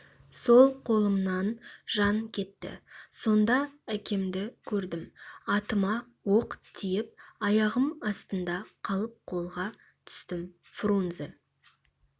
сол қолымнан жан кетті сонда әкемді көрдім атыма оқ тиіп аяғым астында қалып қолға түстім фрунзе